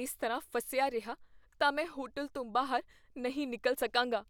ਇਸ ਤਰ੍ਹਾਂ ਫਸਿਆ ਰਿਹਾ ਤਾਂ ਮੈਂ ਹੋਟਲ ਤੋਂ ਬਾਹਰ ਨਹੀਂ ਨਿਕਲ ਸਕਾਂਗਾ।